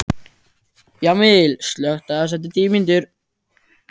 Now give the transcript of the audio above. Jamil, slökktu á þessu eftir níutíu mínútur.